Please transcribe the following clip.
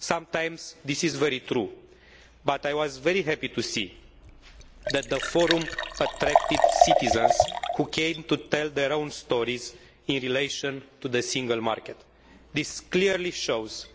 Sometimes, this is very true, but I was very happy to see that the Forum attracted citizens who came to tell their own stories in relation to the single market. This clearly shows